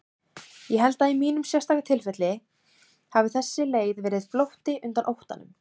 Ég held að í mínu sérstaka tilfelli hafi þessi leið verið flótti undan óttanum.